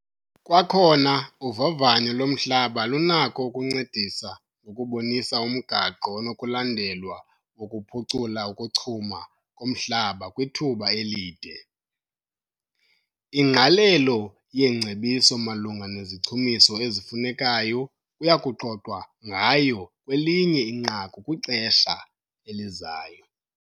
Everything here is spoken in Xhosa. Kwakhona uvavanyo lomhlaba lunako ukuncedisa ngokubonisa umgaqo onokulandelwa wokuphucula ukuchuma komhlaba kwithuba elide. Ingqalelo yeengcebiso malunga nezichumiso ezifunekayo kuya kuxoxwa ngayo kwelinye inqaku kwixesha elizayo.